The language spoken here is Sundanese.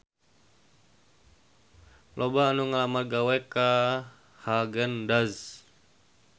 Loba anu ngalamar gawe ka Haagen Daazs